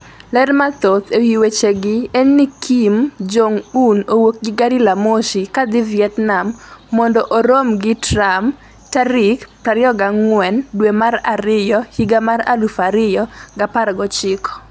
ler mathoth ewi weche gi en ni Kim Jong-un owuok gi gare la mwos kadhi Vietnam mondo oromo gi Trump tarik adek tarik 24 dwe mar ariyo higa mar 2019